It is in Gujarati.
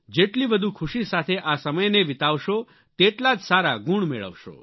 જેટલી વધુ ખુશી સાથે આ સમયને વિતાવશો તેટલા જ સારા ગુણ મેળવશો